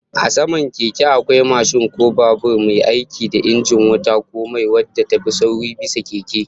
A saman Keke, akwai mashin ko babur, mai aiki da injin wuta ko mai, wadda ta fi sauri bisa keke